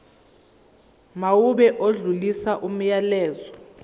mawube odlulisa umyalezo